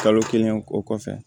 Kalo kelen o kɔfɛ